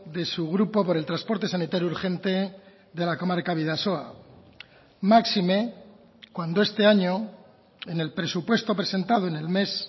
de su grupo por el transporte sanitario urgente de la comarca bidasoa máxime cuando este año en el presupuesto presentado en el mes